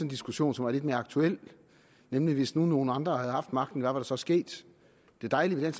diskussion som er lidt mere aktuel nemlig hvis nu nogle andre havde haft magten hvad var der så sket det dejlige ved